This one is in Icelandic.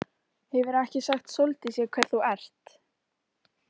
Hefurðu ekki sagt Sóldísi hver þú ert?